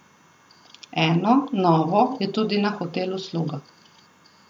Eno, novo, je tudi na hotelu Sluga.